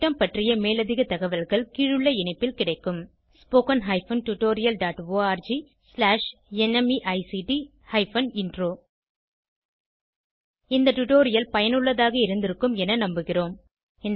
இந்த திட்டம் பற்றிய மேலதிக தகவல்கள் கீழுள்ள இணைப்பில் கிடைக்கும் spoken hyphen tutorial dot org slash NMEICT hyphen intro இந்த டுடோரியல் பயனுள்ளதாக இருந்திருக்கும் என நம்புகிறோம்